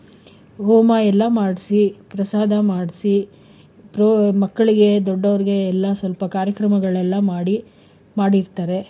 ಹೋಮ ಎಲ್ಲಾ ಮಾಡ್ಸಿ ಪ್ರಸಾದ ಮಾಡ್ಸಿ, ಮಕ್ಕಳಿಗೆ ದೊಡ್ಡವರಿಗೆ ಎಲ್ಲ ಸ್ವಲ್ಪ ಕಾರ್ಯಕ್ರಮಗಳೆಲ್ಲ ಮಾಡಿ, ಮಾಡಿರ್ತಾರೆ.